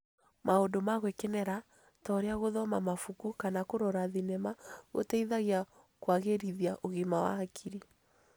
Maũndũ ma gwĩkenia ta ũrĩa gũthoma mabuku kana kũrora thinema gũteithagia kũagĩrithia ũgima wa hakiri.